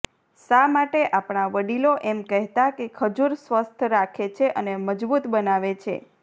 શા માટે આપણા વડીલો એમ કહેતા કે ખજૂર સ્વસ્થ રાખે છે અને મજબુત બનાવે છે